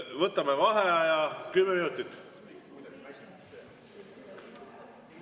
Võtame vaheaja kümme minutit.